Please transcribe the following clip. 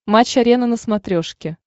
матч арена на смотрешке